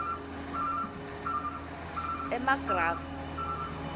emagrafu